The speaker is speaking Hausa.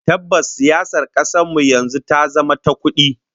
Tabbas, siyasar kasar mu yanzu ta zama ta kudi